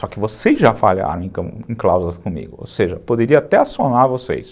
Só que vocês já falharam, então, em cláusulas comigo, ou seja, poderia até assonar vocês.